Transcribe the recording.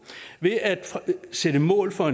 ved at sætte mål for